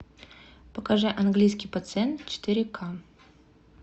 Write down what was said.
покажи английский пациент четыре к